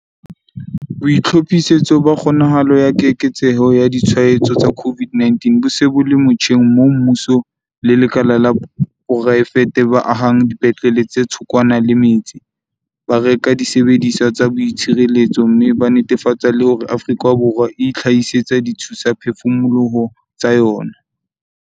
BOITLHOPHISETSO BA KGONAHALO ya keketseho ya ditshwaetso tsa COVID-19 bo se bo le motjheng moo mmuso le lekala la poraefete ba ahang dipetlele tse thokwana le metse, ba reka disebediswa tsa boitshireletso mme ba netefatsa le hore Afrika Borwa e itlhahisetsa dithusaphefumoloho tsa yona.